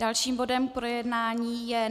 Dalším bodem k projednání je